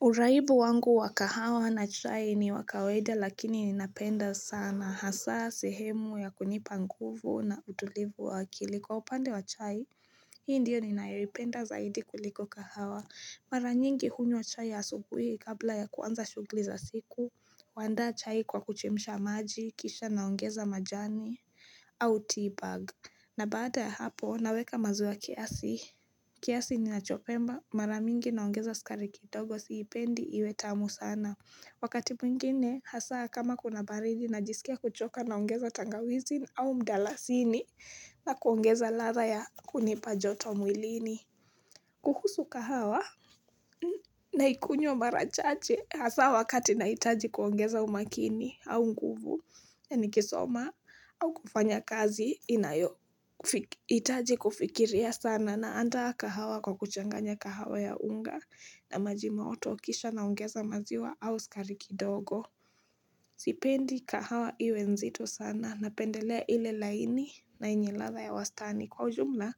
Uraibu wangu wa kahawa na chai ni wakawaida lakini ninapenda sana hasa sehemu ya kunipa nguvu na utulivu wa akili kwa upande wa chai. Hii ndiyo ninayoipenda zaidi kuliko kahawa. Mara nyingi hunywa chai ya asubuhi kabla ya kuanza shugli za siku. Huandaa chai kwa kuchemsha maji, kisha naongeza majani au teabag. Na baada ya hapo, naweka maziwa kiasi. Kiasi ni nachopemba. Maramingi naongeza sukari kidogo siipendi iwe tamu sana. Wakati mwingine, hasa kama kuna baridi na jisike kuchoka naongeza tangawizi au mdalasini na kuongeza ladha ya kunipajoto mwilini. Kuhusu kahawa na ikunywa marachache hasa wakati na itaji kuongeza umakini au nguvu ya nikisoma au kufanya kazi inayo itaji kufikiria sana na andaa kahawa kwa kuchanganya kahawa ya unga na maji motokisha naongeza maziwa au sukariki dogo. Sipendi kahawa iwe nzito sana napendelea ile laini na enye ladha ya wastani kwa ujumla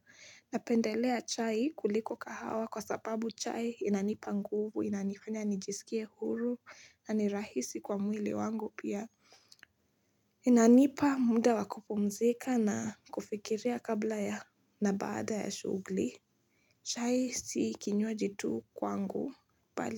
napendelea chai kuliko kahawa kwa sababu chai inanipa nguvu inanifanya nijisikia huru na nirahisi kwa mwili wangu pia inanipa muda wakupumzika na kufikiria kabla ya nabaada ya shugli chai siikinywa jitu kwa ngu bali.